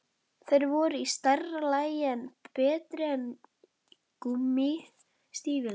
Þeir voru í stærra lagi en betri en gúmmí- stígvélin.